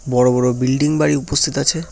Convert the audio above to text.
বড়ো বড়ো বিল্ডিং বাড়ি উপস্থিত আছে।